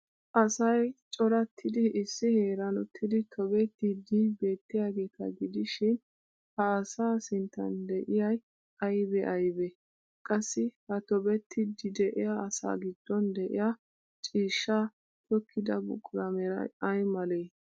Asay corattiddi issi heeran uttidi tobettiiddi beettiyageeta gidishin ha asaa sinttan de'iyay aybee aybee ? Qassi ha tobettiiddi de'iya asa giddon de'iya ciishshaa tookkida buquraa meray ay malee?